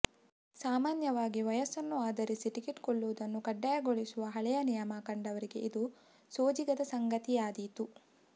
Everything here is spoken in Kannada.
ಸಾಮಾನ್ಯವಾಗಿ ವಯಸ್ಸನ್ನು ಆಧರಿಸಿ ಟಿಕೆಟ್ ಕೊಳ್ಳುವುದನ್ನು ಕಡ್ಡಾಯಗೊಳಿಸುವ ಹಳೆಯ ನಿಯಮ ಕಂಡವರಿಗೆ ಇದು ಸೋಜಿಗದ ಸಂಗತಿ ಆದೀತು